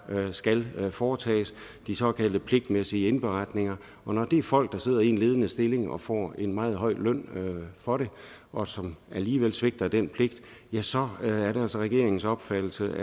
skal foretages de såkaldte pligtmæssige indberetninger og når det er folk der sidder i en ledende stilling og får en meget høj løn for det og som alligevel svigter den pligt så er det altså regeringens opfattelse